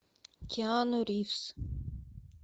киану ривз